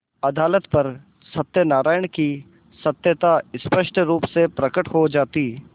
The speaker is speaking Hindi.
अदालत पर सत्यनारायण की सत्यता स्पष्ट रुप से प्रकट हो जाती